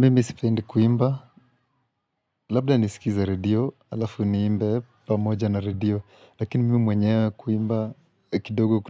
Mimi sipendi kuimba. Labda nisikize radio, halafu niimbe pamoja na radio. Lakini mimi mwenyewe kuimba, kidogo